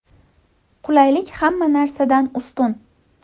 Qulaylik hamma narsadan ustun.